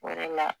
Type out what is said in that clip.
O yɛrɛ la